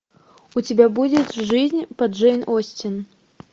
у тебя будет жизнь по джейн остин